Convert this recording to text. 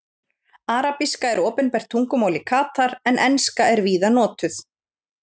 Arabíska er opinbert tungumál í Katar en enska er víða notuð.